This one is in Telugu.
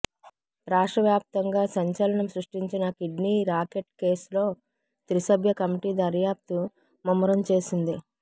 రాష్ట్రవ్యాప్తంగా సంచలనం సృష్టించిన కిడ్నీ రాకెట్ కేస్లో త్రిసభ్య కమిటీ దర్యాప్తు ముమ్మరం చేసింది